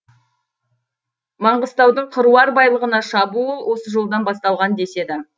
маңғыстаудың қыруар байлығына шабуыл осы жолдан басталған деседі